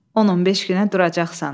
10-15 günə duracaqsan.